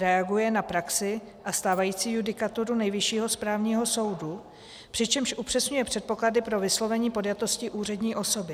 Reaguje na praxi a stávající judikaturu Nejvyššího správního soudu, přičemž upřesňuje předpoklady pro vyslovení podjatosti úřední osoby.